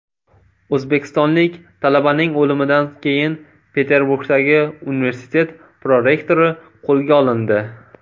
O‘zbekistonlik talabaning o‘limidan keyin Peterburgdagi universitet prorektori qo‘lga olindi.